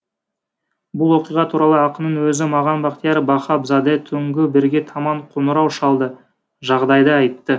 бұл оқиға туралы ақынның өзі маған бақтияр бахабзаде түнгі бірге таман қоңырау шалды жағдайды айтты